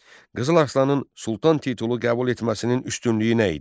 Qızıl Arslanın Sultan titulu qəbul etməsinin üstünlüyü nə idi?